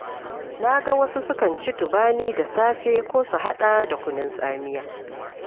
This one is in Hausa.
Na ga wasu sukan ci Tubani da safe, ko su haɗa da kunun tsamiya.